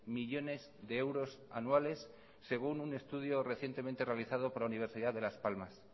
millónes de euros anuales según un estudio recientemente realizado por la universidad de las palmas